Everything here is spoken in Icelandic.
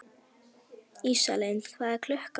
Ísalind, hvað er klukkan?